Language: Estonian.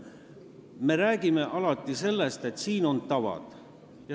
Me räägime alati sellest, et siin on tavad.